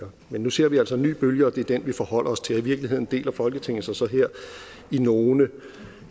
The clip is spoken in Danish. men nu ser vi altså en ny bølge og det er den vi forholder os til og i virkeligheden deler folketinget sig så her i nogle